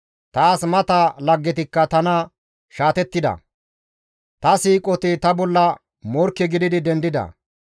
Taas mata laggetikka tana shaatettida; ta siiqoti ta bolla morkke gidi dendida.